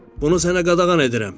Bunu sənə qadağan edirəm.